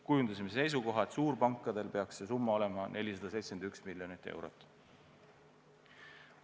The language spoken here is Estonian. Kujundasime seisukoha, et suurpankadel peaks see summa olema 471 miljonit eurot.